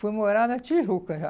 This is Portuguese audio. Fui morar na Tijuca já.